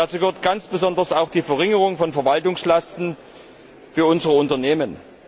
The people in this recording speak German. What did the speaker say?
Dazu gehört ganz besonders auch die Verringerung von Verwaltungslasten für unsere Unternehmen.